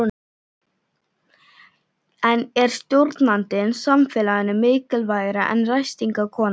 En er stjórnandinn samfélaginu mikilvægari en ræstingakonan?